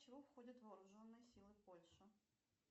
в чего входят вооруженные силы польши